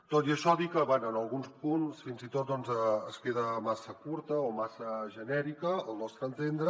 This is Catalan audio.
tot i això dir que bé en alguns punts fins i tot queda massa curta o massa genèrica al nostre entendre